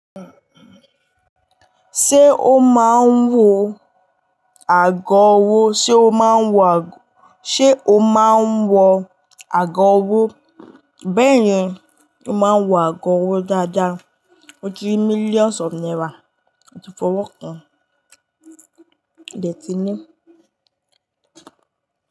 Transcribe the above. Ṣé ó máa ń wọ ago ọwọ́? Ṣé ó máa ń wọ ago-- ṣé o máa ń wọ ago ọwọ́? Bẹ́ẹ̀ni, ó máa ń wọ ago ọwọ́ dáadáa. Mo ti rí millions of naira moti fọwọ́ kan, modẹ ti ní.